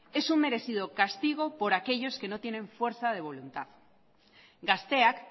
es un merecido castigo por aquellos que no tienen fuerza de voluntad gazteak